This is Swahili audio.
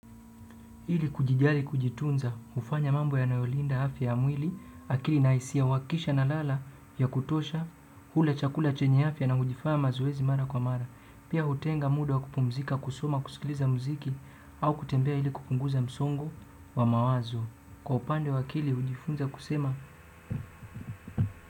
Ili kujijali kujitunza, hufanya mambo yanayolinda afya ya mwili, akili na hisia uhakikisha nalala vya kutosha, hula chakula chenye afya na hujifanya mazoezi mara kwa mara. Pia hutenga muda wa kupumzika, kusoma, kusikiliza muziki, au kutembea ili kupunguza msongo wa mawazo. Kwa upande wa akili, hujifunza kusema.